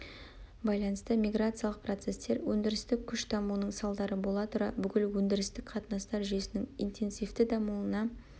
байланысты миграциялық процестер өндірістік күш дамуының салдары бола тұра бүкіл өндірістік қатынастар жүйесінің интенсивті дамуына